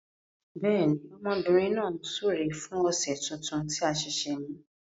Bẹẹni, ọmọbìnrin náà ń súre fún ọ̀sẹ̀ tuntun tí a ṣẹ̀ṣẹ̀ mú.